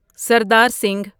Sardar Singh